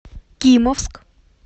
кимовск